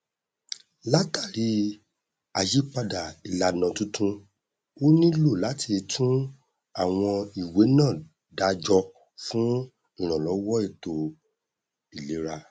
látàrí àyípadà ìlànà tuntun ó nílò láti tún àwọn ìwé náà dá jọ fún ìrànlọwọ ètò ìlera